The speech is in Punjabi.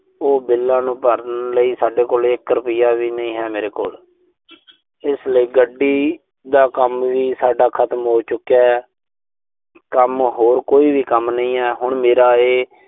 ਉਹ ਬਿੱਲਾਂ ਨੂੰ ਭਰਨ ਲਈ ਸਾਡੇ ਕੋਲ, ਇੱਕ ਰੁਪਈਆ ਵੀ ਨਹੀਂ ਹੈ, ਮੇਰੇ ਕੋਲ। ਇਸ ਲਈ ਗੱਡੀ ਦਾ ਕੰਮ ਵੀ ਸਾਡਾ ਖਤਮ ਹੋ ਚੁਕਿਐ। ਕੰਮ ਹੁਣ ਕੋਈ ਵੀ ਕੰਮ ਨਹੀਂ ਐ। ਹੁਣ ਮੇਰਾ ਇਹ।